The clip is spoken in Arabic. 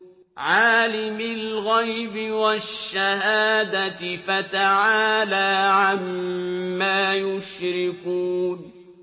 عَالِمِ الْغَيْبِ وَالشَّهَادَةِ فَتَعَالَىٰ عَمَّا يُشْرِكُونَ